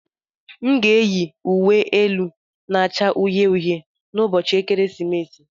M ga-eyi uwe elu na-acha uhie uhie n'ụbọchị ekeresimesi.